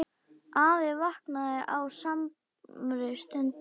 Afi vaknaði á samri stundu.